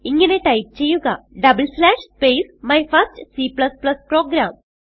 ഇങ്ങനെ ടൈപ്പ് ചെയ്യുക space my first C programme